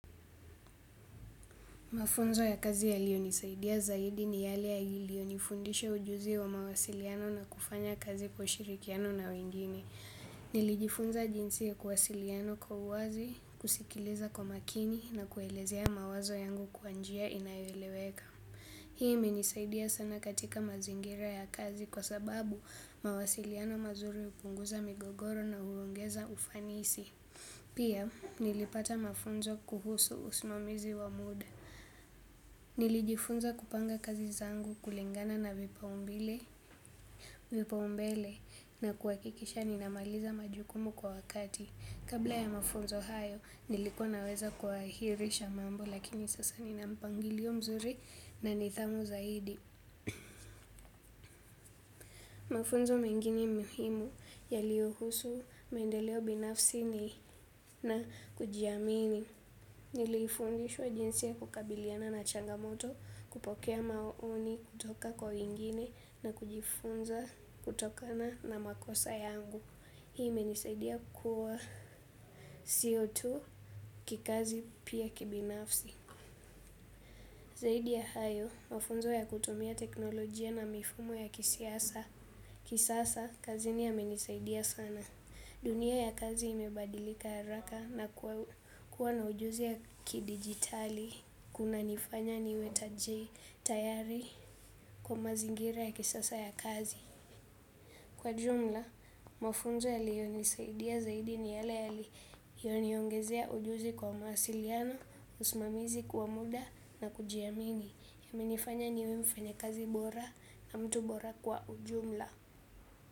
Mafunzo ya kazi yaliyo nisaidia zaidi ni yale yaliyo nifundisha ujuzi wa mawasiliano na kufanya kazi kwa ushirikiano na wengine. Nilijifunza jinsi ya kuwasiliana kwa uwazi, kusikiliza kwa makini na kuelezea mawazo yangu kwa njia inayo eleweka. Hii kmenisaidia sana katika mazingira ya kazi kwa sababu mawasiliano mazuri hupunguza migogoro na huongeza ufanisi. Pia nilipata mafunzo kuhusu usimamizi wa muda. Nilijifunza kupanga kazi zangu kulingana na vipaumbele na kuhakikisha ninamaliza majukumu kwa wakati. Kabla ya mafunzo hayo nilikua naweza kuahirisha mambo lakini sasa nina mpangilio mzuri na nidhamu zaidi. Mafunzo mengine muhimu yaliyo husu, mendeleo binafsi na kujiamini. Niliifundishwa jinsi ya kukabiliana na changamoto kupokea maoni kutoka kwa wengine na kujifunza kutokana na makosa yangu. Hii imenisaidia kua sio tu kikazi pia kibinafsi. Zaidi ya hayo, mafunzo ya kutumia teknolojia na mifumo ya kisiasa. Kisasa, kazini yamenisaidia sana. Dunia ya kazi imebadilika haraka na kuwa na ujuzi ya kidijitali. Kuna nifanya niwe tayari kwa mazingira ya kisasa ya kazi najua mafunzo yaliyonisaidia vizuri ni yale yaliyo niongezea ujuzi kwa mawasiliano, usimamizi kwa muda na kujiamini. Imenifanya niwe mfanyi kazi bora na mtu bora kwa jumla.